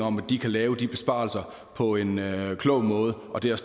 om at de kan lave de besparelser på en klog måde og det er